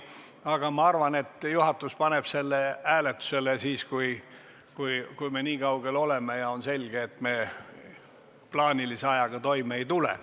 Aga ma arvan, et juhatus paneb selle hääletusele siis, kui me nii kaugel oleme ja on selge, et me plaanilise ajaga toime ei tule.